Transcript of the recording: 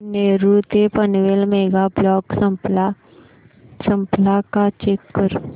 नेरूळ ते Panvel mega block संपला का चेक कर